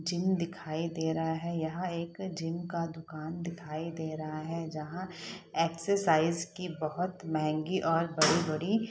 Gym दिखाई दे रहा है। यहाँ एक जिम का दुकान दिखाई दे रहा है जहाँ एक्सेसाइज की बहोत महँगी और बड़ी- बड़ी --